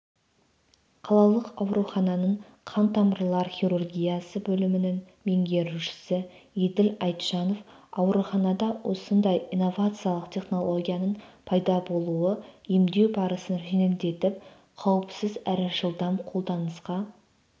қалалық аурухананың қантамырлар хирургиясы бөлімінің меңгерушісі еділ айтжанов ауруханада осындай инновациялық технологияның пайда болуы емдеу барысын жеңілдетіп қауіпсіз әрі жылдам қолданысқа